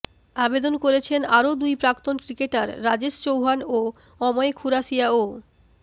আবেদন করেছেন আরও দুই প্রাক্তন ক্রিকেটার রাজেশ চৌহান ও অময় খুরাসিয়াও